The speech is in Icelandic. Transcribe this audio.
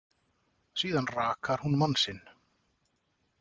Síðan rakar hún mann sinn.